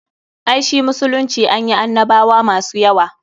Ai shi musulunci anyi annabwa masu yawa.